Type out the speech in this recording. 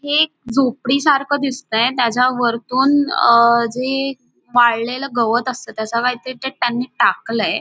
हे एक झोपडी सारखं दिसतंय त्याच्या वरतून अहं जे वाळलेलं गवत असतं तसं काहीतरी ते त्यांनी टाकलंय.